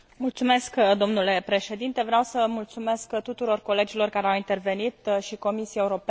Vreau să mulțumesc tuturor colegilor care au intervenit și Comisiei Europene pentru colaborare.